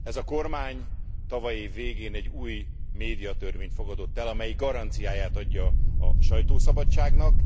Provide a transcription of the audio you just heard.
Ez a kormány tavaly év végén egy új médiatörvényt fogadott el, amelyik garanciáját adja a sajtószabadságnak.